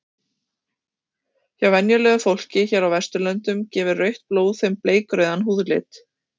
Hjá venjulegu fólki hér á Vesturlöndum gefur rautt blóð þeim bleikrauðan húðlit.